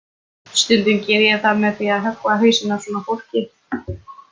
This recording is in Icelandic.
Stundum geri ég það með því að höggva hausinn af svona fólki.